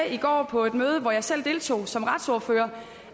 i går på et møde hvor jeg selv deltog som retsordfører